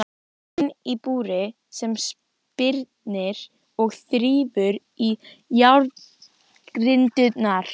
Mann í búri sem spyrnir og þrífur í járngrindurnar.